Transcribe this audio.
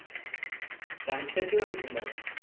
sunset കണ്ടിട്ടുണ്ടോ? കണ്ടിട്ടുണ്ടോ?